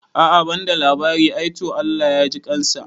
A'a banda labari ai, to Allah ya jikansa